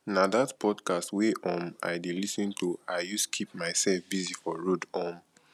na dat podcast wey um i dey lis ten to i use keep mysef busy for road um